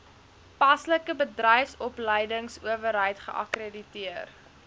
paslike bedryfsopleidingsowerheid geakkrediteer